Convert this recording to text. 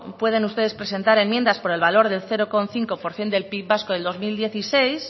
pueden ustedes presentar enmiendas por el valor del cero coma cinco por ciento del pib vasco del dos mil dieciséis